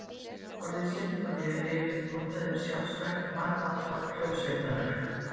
Orðið sinfónía er yfirleitt notað yfir sjálfstætt margþátta hljómsveitarverk.